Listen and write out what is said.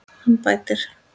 Hann bætir.